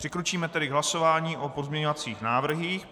Přikročíme tedy k hlasování o pozměňovacích návrzích.